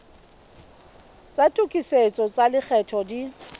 tsa tokisetso tsa lekgetho di